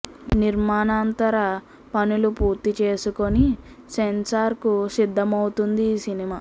నిర్మాణాంతర పనులు పూర్తి చేసుకొని సెన్సార్ కు సిద్దమవుతుంది ఈ సినిమా